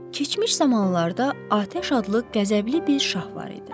Keçmiş zamanlarda atəş adlı qəzəbli bir şah var idi.